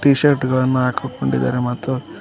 T shirt ಗಳನ್ನ ಹಾಕಿಕೊಂಡಿದ್ದಾರೆ ಮತ್ತು--